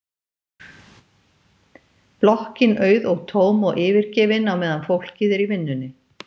Blokkin auð og tóm og yfirgefin á meðan fólkið er í vinnunni.